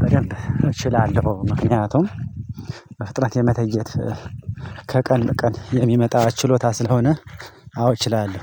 በገንብ እችላለሁ። ምክንያቱም በፍጥነት የመተየብ ከቀን በቀን የሚመጣ ችሎታ ስለሆነ አዎ እችላለሁ